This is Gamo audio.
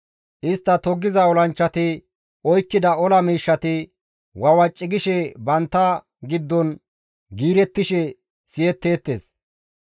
Istta toggiza olanchchati oykkida ola miishshati, wawaci gishe bantta giddon giirettishe siyetteettes.